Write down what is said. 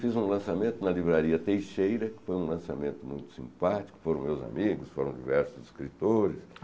Fiz um lançamento na Livraria Teixeira, que foi um lançamento muito simpático, foram meus amigos, foram diversos escritores.